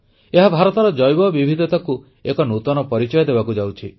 ଏହା ଭାରତର ଜୈବ ବିବିଧତାକୁ ଏକ ନୂତନ ପରିଚୟ ଦେବାକୁ ଯାଉଛି